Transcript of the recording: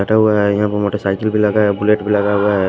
बटा हुआ है यहां पर मोटरसाइकिल भी लगा है बुलेट भी लगा हुआ है।